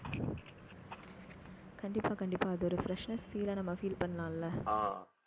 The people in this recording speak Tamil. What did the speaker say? கண்டிப்பா, கண்டிப்பா அதோட freshness feel அ நம்ம feel பண்ணலாம்ல